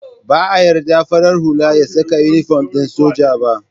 Ba a yarda farar hula ya saka inifom ɗin sojoji ba